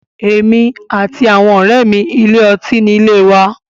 Èmi àti àwọn ọ̀rẹ́ mi ilé ọtí nílé wa..